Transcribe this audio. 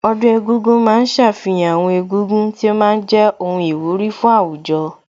Ọdún egúngún ma ń ṣàfihàn àwọn egúngún tí ó ma ń jẹ́ ohun ìwúrí fún àwùjọ